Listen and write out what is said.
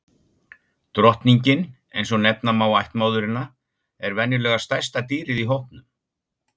Drottningin, eins og nefna má ættmóðurina, er venjulega stærsta dýrið í hópnum.